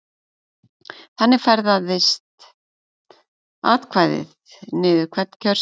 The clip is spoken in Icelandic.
Þannig ferðast atkvæðið niður hvern kjörseðil.